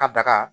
Ka daga